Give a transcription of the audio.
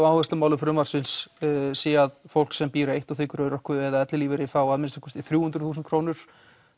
áherslumálum frumvarpsins sé að fólk sem býr eitt og þiggur örorku eða ellilífeyri fái að minnsta kosti þrjú hundruð þúsund krónur